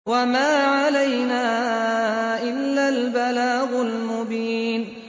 وَمَا عَلَيْنَا إِلَّا الْبَلَاغُ الْمُبِينُ